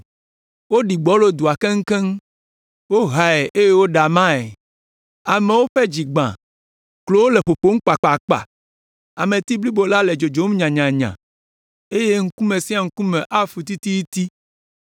Woɖi gbɔlo dua keŋkeŋ, wohae eye woɖe amae. Amewo ƒe dzi gbã, klowo le ƒoƒom kpakpakpa, ameti blibo la le dzodzom nyanyanya, eye ŋkume sia ŋkume afu tititi.